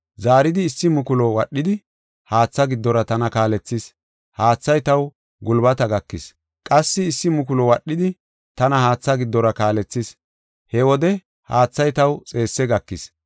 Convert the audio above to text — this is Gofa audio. Zaaridi issi mukulu wadhidi, haatha giddora tana kaalethis. Haathay taw gulbata gakis. Qassi issi mukulu wadhidi, tana haatha giddora kaalethis. He wode haathay taw xeesse gakis.